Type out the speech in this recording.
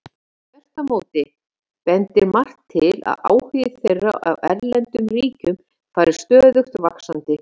Þvert á móti bendir margt til að áhugi þeirra á erlendum ríkjum fari stöðugt vaxandi.